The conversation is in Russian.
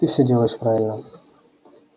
ты всё делаешь правильно